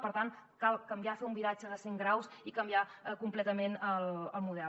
per tant cal canviar fer un viratge de cent graus i canviar completament el model